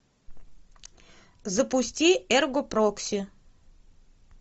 запусти эрго прокси